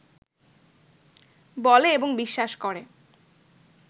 বলে এবং বিশ্বাস করে